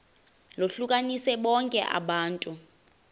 lohlukanise bonke abantu